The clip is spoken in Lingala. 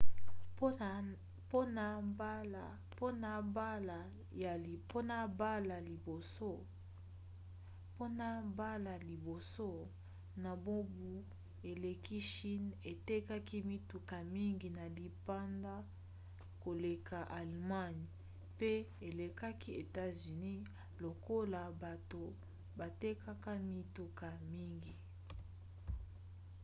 mpona mbala ya liboso na mobu eleki chine etekaki mituka mingi na libanda koleka allemagne pe elekaki etats-unis lokola bato batekaka mituka mingi